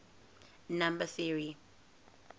number theory